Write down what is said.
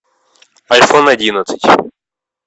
айфон одиннадцать